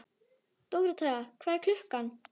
Dóróthea, hvað er klukkan?